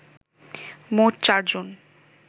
মোট চারজন